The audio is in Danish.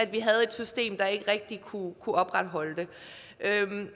vi havde et system der ikke rigtig kunne opretholde det